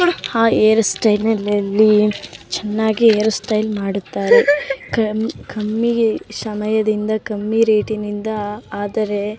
hair ಸ್ಟೈಲ್‌ನಲ್ಲಿ ಚೆನ್ನಾಗಿ hair style ಮಾಡುತ್ತಾರೆ ಕಮ್ಮಿ ಸಮಯದಿಂದ ಕಮ್ಮಿ ರೇಟ್‌ನಿಂದ ಆದರೆ--